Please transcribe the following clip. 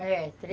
É, três